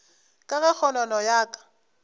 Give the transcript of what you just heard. ka ge kgonono ya ka